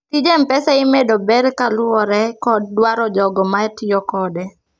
tij mpesa imedo ber kaluore kod dwaro jogo ma tiyo kode